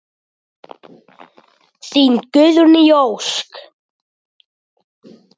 Þín Guðný Ósk.